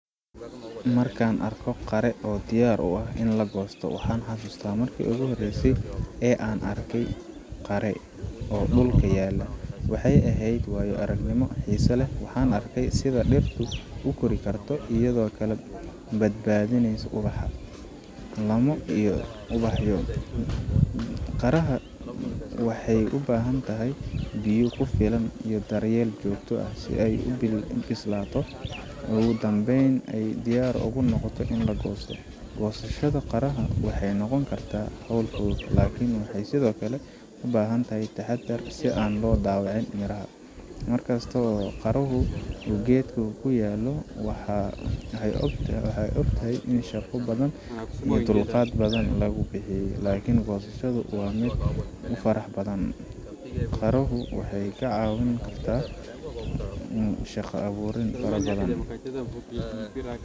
Marka aan arko qare oo diyaar u ah in la goosto, waxaan xasuustaa markii ugu horreysay ee aan arkey qare oo dhulka yaalla. Waxay ahayd waayo aragnimo xiiso leh waxaan arkay sida dhirtu u kori karto, iyadoo kala badalanaysa ubax, laamo, iyo ubaxyo. qareha waxay u baahan tahay biyo ku filan iyo daryeel joogto ah si ay u bislaato oo ugu dambeyn ay diyaar u noqoto in la goosto. Goosashada liinta biyaha waxay noqon kartaa hawl fudud, laakiin waxay sidoo kale u baahan tahay taxaddar si aan loo dhaawicin miraha. Markaad aragto qaruhu uu geedka kauu kuyaalo, waxaad ogtahay in shaqo badan iyo dulqaad badan lagu bixiyay, laakiin goosashadu waa mid aad u farxad badan. qare hu waxay caawin karta shaqa abuur.